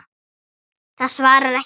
Það svarar ekki.